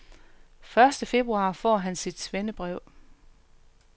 Første februar får han sit svendebrev.